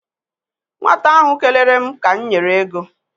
Nwata ahụ kelere m ka m nyere ego.